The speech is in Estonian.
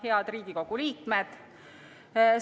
Head Riigikogu liikmed!